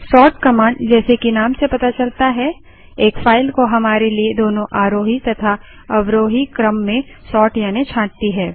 sort command जैसे कि नाम से पता चलता है एक फाइल को हमारे लिए दोनों आरोही तथा अवरोही क्रम में सोर्ट यानि छांटती है